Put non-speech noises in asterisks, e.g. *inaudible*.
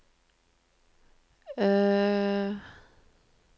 *hesitation*